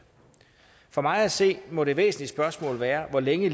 for mig at se må det væsentlige spørgsmål være hvor længe